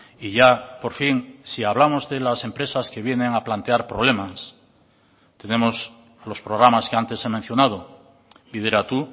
y ya por fin si hablamos de las empresas que vienen a plantear problemas tenemos los programas que antes he mencionado bideratu